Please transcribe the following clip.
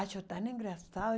Acho tão engraçado.